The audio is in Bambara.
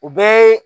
O bɛɛ ye